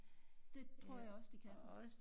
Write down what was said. Det tror jeg også de kan